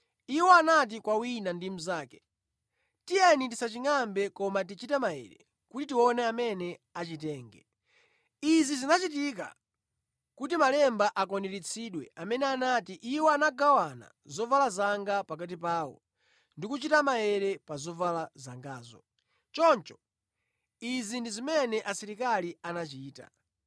Iwo anati kwa wina ndi mnzake, “Tiyeni tisachingʼambe koma tichite maere kuti tione amene achitenge.” Izi zinachitika kuti malemba akwaniritsidwe amene anati, “Iwo anagawana zovala zanga pakati pawo ndi kuchita maere pa zovala zangazo.” Choncho izi ndi zimene asilikali anachita.